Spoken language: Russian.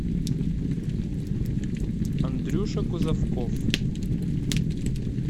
андрюша кузовков